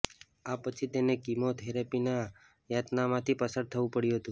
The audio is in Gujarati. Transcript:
આ પછી તેને કીમો થેરેપીની યાતનામાંથી પસાર થવું પડ્યું હતુંં